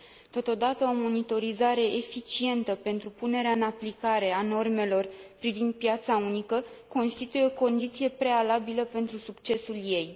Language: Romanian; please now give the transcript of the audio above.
Totodată, o monitorizare eficientă pentru punerea în aplicare a normelor privind piața unică constituie o condiție prealabilă pentru succesul ei.